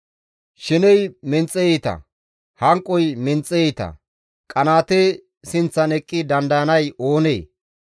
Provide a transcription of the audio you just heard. Sheney menxe iita; hanqoy menxe iita; qanaate sinththan eqqi dandayanay oonee?